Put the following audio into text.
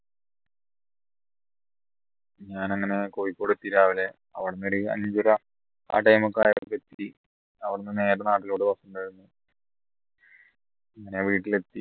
ഞാൻ അങ്ങനെ കോഴിക്കോട് എത്തി രാവിലെ അവിടുന്ന് ഒരു അഞ്ചര ആ time ഒക്കെ ആയപ്പോ എത്തി അവിടുന്ന് നേരെ നാട്ടിലോട്ട് bus ഉണ്ടായിരുന്നു അങ്ങനെ വീട്ടിലെത്തി